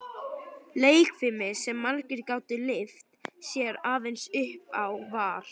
Leikfimi, sem margir gátu lyft sér aðeins upp á, var